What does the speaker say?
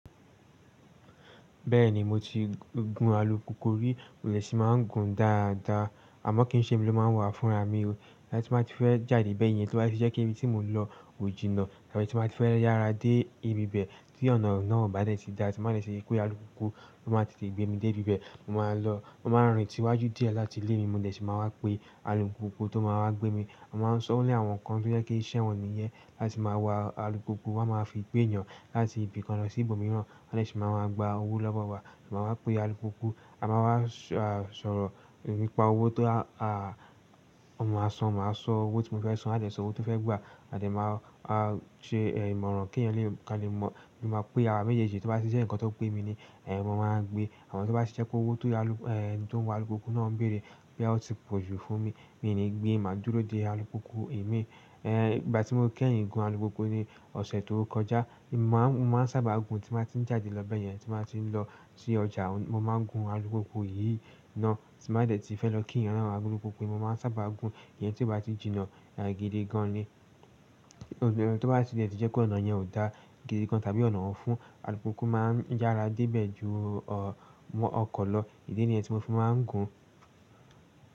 Bẹ́ẹ̀ni mo ti gun alùpùpù rí, mo ṣì máa ń gun dáadáa. Àmọ́ kín ṣe mi ló máa ń wà fúnra mi. Ti n bá ti fẹ́ jáde bẹ́ẹ̀ yẹn, tí o bá jẹ́ pé ibi tí mo n lọ kò jìnnà, tàbí tí n bá ti fẹ́ yára dé ibi bẹ́ẹ̀ tí ọ̀nà náà o bá dẹ́tì dá, tí máa dẹ́ẹ̀tì rí pé alùpùpù ló máa tètè gbé mi dé ibi bẹ́ẹ̀, mo máa lọ. Mo máa rìn sí iwájú díẹ̀ láti ilé mi, mo dẹ̀ ṣe máa wá pè alùpùpù tó máa wá gbé mi. A sì máa sọ, ọ́ ni àwọn kan tó jẹ́ pé iṣẹ̀wọ̀n nìyẹn, láti máa wá alùpùpù, wọ́n a máa fi gbé èeyàn láti ibìkan lọ sí ibòmíràn, wọ́n dẹ̀ ṣì máa máa gba owó lọ́wọ́ wa. Máa wá pè alùpùpù, a máa wá sọ̀rọ̀ nípa owó tó à ma san, máa sọ owó tí mo fẹ́ san, a dẹ̀ sọ owó tí ó fẹ́ gbà, a dẹ̀ máa ṣe ìmọ̀ràn kí ẹ̀yin lè ka lè mọ̀ bóyá o ma pé àwa méjèèjì. Tí o bá ti jẹ́ ǹkan tó pé mi ni, ẹ̀ mo máa gbé. Àmọ́ tí o bá ti jẹ́ pé owó ti ẹni tó ń wa alùpùpù náà ń bèèrè bóyá ó ti pọ̀jù fún mi, mi ò ní gbé. Màá dúró dé alùpùpù emí. Ìgbà tí mo kẹ́yiń gun alùpùpù ni ọ̀sẹ̀ tó kọjá. Mo máa ń sáábà gun tí n bá ti ń jáde lọ bẹ́ẹ̀ yẹn, tí n bá ti ń lọ sí ọjà, mo máa ń gun alùpùpù yìí náà. Tí n bá dẹ̀ ti fẹ́ lọ kí ẹ̀yàn nan alùpùpù ni mo máa ń sáábà gun. Ìyẹn tí ó bá ti jìnnà, a gidi gan ni. Tó bá jẹ́ pé ọ̀nà yẹn ò dáa gidi gan tàbí ọ̀nà un fún, alùpùpù máa ń yára dé ibẹ̀ jù ọkọ̀ lọ. Ìdí nìyẹn tí mo fi máa ń gun.